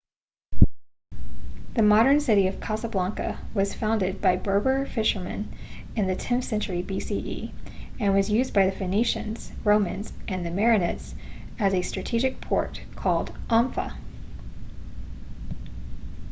the modern city of casablanca was founded by berber fishermen in the 10th century bce and was used by the phoenicians romans and the merenids as a strategic port called anfa